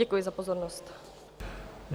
Děkuji za pozornost.